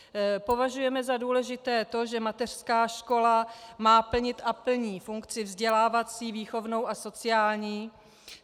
Považujeme za důležité to, že mateřská škola má plnit a plní funkci vzdělávací, výchovnou a sociální.